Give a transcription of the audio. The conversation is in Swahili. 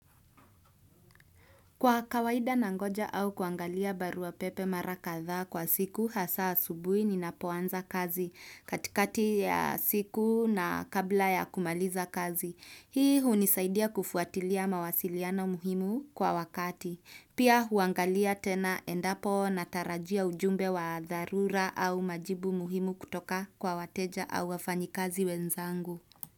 Kwa kawaida nangoja au kuangalia barua pepe mara kadhaa kwa siku hasa asubuhi ninapoanza kazi katikati ya siku na kabla ya kumaliza kazi. Hii hunisaidia kufuatilia mawasiliana muhimu kwa wakati. Pia huangalia tena endapo natarajia ujumbe wa dharura au majibu muhimu kutoka kwa wateja au wafanyikazi wenzangu.